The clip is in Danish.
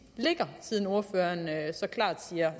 ligger siden ordføreren så klart siger